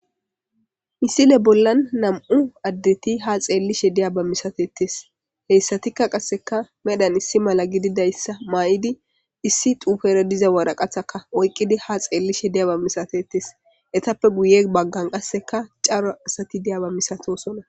Misile bollan nam'u addetti ha xeelishe de'iba misattetes.heyssatikka qasekka medhan issi malla gididayssa mayidi issi xufera diza woraqatakka oyqqidi ha xeelishe de'iyaba misattetes.ittappe guye baggan qaasekka cora asati de'iyaba misatossona.